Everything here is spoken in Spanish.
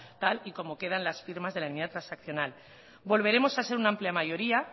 tal y como quedan las firmas de la enmienda transaccional volveremos a ser una amplia mayoría